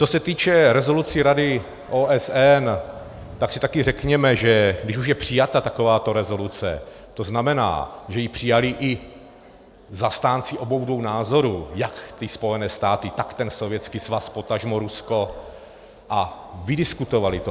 Co se týče rezolucí Rady OSN, tak si taky řekněme, že když už je přijata takováto rezoluce, to znamená, že ji přijali i zastánci obou dvou názorů, jak ty Spojené státy, tak ten Sovětský svaz, potažmo Rusko, a vydiskutovali to.